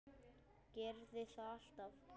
Gerði það alltaf.